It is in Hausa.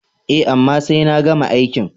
E, amma sai na gama aikin.